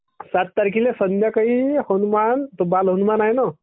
सात तारखेला संध्याकाळी हनुमान तो बालहनुमान आहे ना.